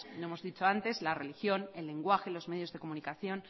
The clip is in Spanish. como hemos dicho antes la religión el lenguaje los medios de comunicación